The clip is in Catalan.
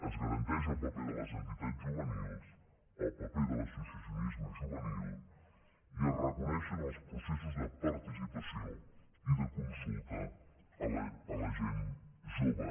es garanteix el paper de les entitats juvenils el paper de l’associacionisme juvenil i es reconeixen els processos de participació i de consulta a la gent jove